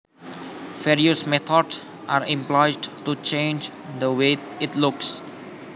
Various methods are employed to change the way it looks